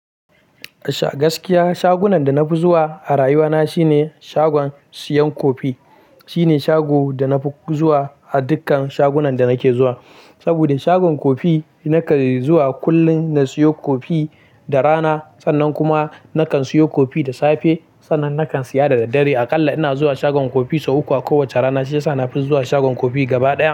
Gaskiya shagunan da na fi zuwa a rayuwa na shine shagon siyan kofi. Shine shago da na fi zuwa a dukkan shagunan da nake zuwa. Saboda shagon kofi nakan yi zuwa kullum na siyo kofi da rana, sannan kuma nakan siyo kofi da safe, sannan nakan siya da daddare. Aƙalla ina zuwa shagon kofi sau uku a kowacce rana, shi yasa na fi zuwa shagon kofi gaba ɗaya.